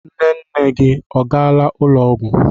Nne nne gị a gaala ụlọ ọgwụ.